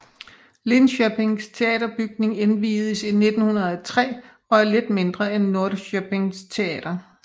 Linköpings teaterbygning indviedes i 1903 og er lidt mindre end Norrköpings teater